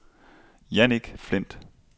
Jannik Flindt